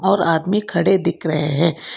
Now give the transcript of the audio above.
और आदमी खड़े दिख रहे हैं।